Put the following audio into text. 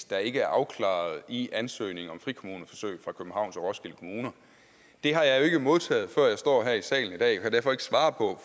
der ikke er afklaret i ansøgningen om frikommuneforsøg fra københavns og roskilde kommuner har jeg jo ikke modtaget før jeg står her i salen i dag og kan derfor ikke svare på